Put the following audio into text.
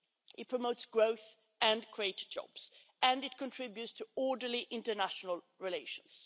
It promotes growth and creates jobs, and it contributes to orderly international relations.